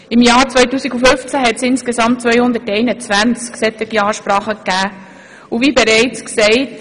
Im Jahr 2015 gab es insgesamt 221 solcher Ansprachen.